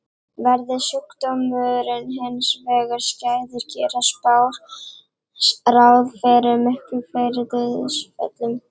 Verði sjúkdómurinn hins vegar skæður gera spár ráð fyrir miklu fleiri dauðsföllum.